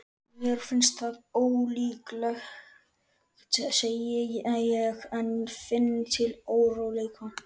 Mér finnst það ólíklegt, segi ég en finn til óróleika.